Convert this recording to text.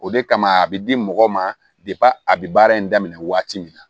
O de kama a bɛ di mɔgɔ ma a bɛ baara in daminɛ waati min na